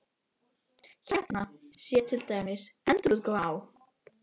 Hérna sé til dæmis endurútgáfa á